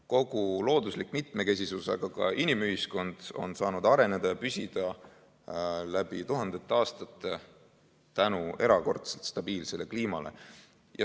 Kogu looduse mitmekesisus, aga ka inimühiskond on saanud areneda ja püsida läbi tuhandete aastate tänu erakordselt stabiilsele kliimale.